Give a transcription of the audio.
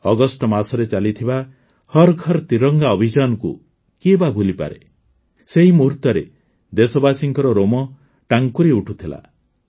August ମାସରେ ଚାଲିଥିବା ହର୍ ଘର୍ ତିରଙ୍ଗା ଅଭିଯାନକୁ କିଏବା ଭୁଲିପାରେ ସେହି ମୁହୂର୍ତ୍ତରେ ଦେଶବାସୀଙ୍କର ରୋମ ଟାଙ୍କୁରି ଉଠୁଥିଲା